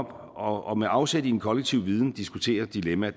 og med afsæt i en kollektiv viden diskuterer et dilemma